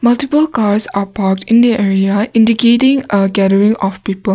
multiple cars are park in area indicating a gathering of people.